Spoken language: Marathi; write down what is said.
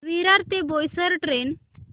विरार ते बोईसर ट्रेन